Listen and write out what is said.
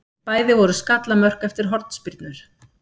Bæði voru skallamörk eftir hornspyrnur.